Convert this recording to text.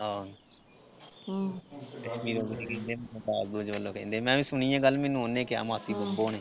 ਹਾਂ ਕਸ਼ਮੀਰੋਂ ਹੁਣੀ ਕਹਿੰਦੇ ਦਾਜ ਦੂਜ ਵਲੋਂ ਕਹਿੰਦੇ। ਮੈਂ ਵੀ ਸੁਣੀ ਆ ਗੱਲ ਮੈਨੂੰ ਉਹਨੇ ਕਿਹਾ ਮਾਸੀ ਨੇ